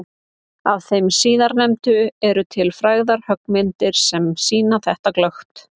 Af þeim síðarnefndu eru til frægar höggmyndir sem sýna þetta glöggt.